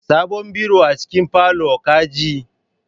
Sabon biro a cikin parlour, ka ji?